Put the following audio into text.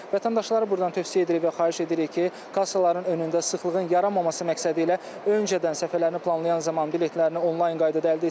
Vətəndaşlara burdan tövsiyə edirik və xahiş edirik ki, kassaların önündə sıxlığın yaranmaması məqsədilə öncədən səfərlərini planlayan zaman biletlərini onlayn qaydada əldə etsinlər.